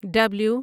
W